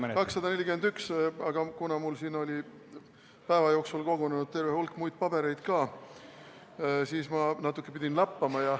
Jaa, 241, aga kuna mul oli siia päeva jooksul kogunenud ka terve hulk muid pabereid, siis ma pidin natukene lappama.